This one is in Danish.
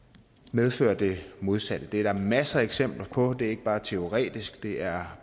medfører det modsatte det er der masser af eksempler på det er ikke bare teoretisk det er